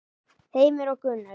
Heimir og Gunnur.